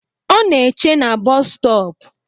Ọ na eche na boosu stop